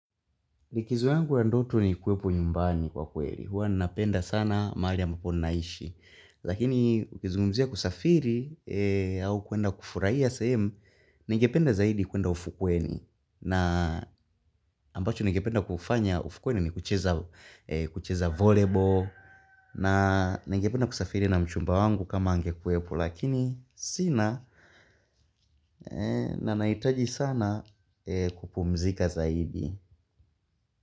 Likizo yangu ya ndoto ni kuwepo nyumbani kwa kweli. Huwa napenda sana mahali ambapo naishi. Lakini ukizungumzia kusafiri au kwenda kufuraia sehemu. Nengependa zaidi kwenda ufukweni. Na ambacho nengependa kufanya ufukweni ni kucheza volebol. Na nengependa kusafiri na mchumba wangu kama angekuwepo. Lakini sina na naitaji sana kupumzika zaidi.